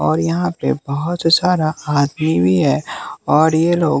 और यहाँ पे बहुत सारा आदमी भी है और ये लोग--